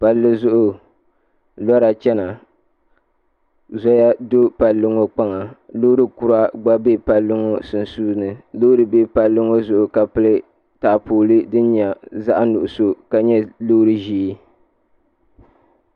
Palli zuɣu lora chɛna zoya do palli ŋɔ kpaŋa loori kura gba bɛ palli ŋɔ sunsuuni loori bɛ palli ŋɔ zuɣu ka pili taapooli din nyɛ zaɣ nuɣso ka nyɛ loori ʒiɛ